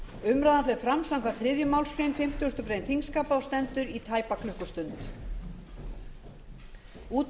umræðan fer fram samkvæmt þriðju málsgrein fimmtugustu grein þingskapa og